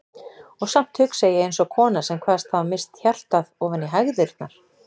Og samt hugsa ég eins og kona sem kvaðst hafa misst hjartað ofan í hægðirnar.